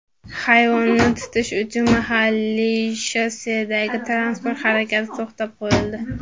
Hayvonni tutish uchun mahalliy shossedagi transport harakati to‘xtatib qo‘yildi.